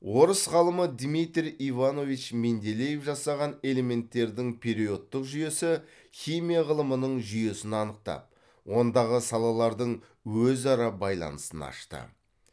орыс ғалымы дмитрий иванович менделеев жасаған элементтердің периодтық жүйесі химия ғылымының жүйесін анықтап ондағы салалардың өзара байланысын ашты